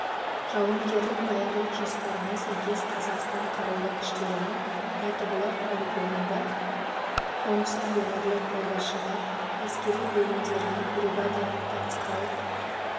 жауынгерлік даярлық жоспарына сәйкес қазақстан қарулы күштерінің мәтібұлақ полигонында оңтүстік өңірлік қолбасшылығы әскери бөлімдерінің бригадалық тактикалық